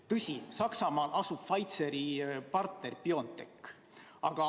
Tõsi, Saksamaal asub Pfizeri partner BioNTech.